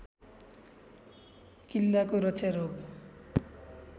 किल्लाको रक्षा रोग